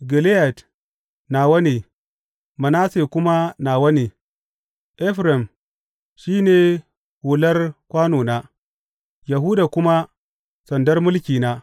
Gileyad nawa ne, Manasse kuma nawa ne; Efraim shi ne hular kwanona, Yahuda kuma sandar mulkina.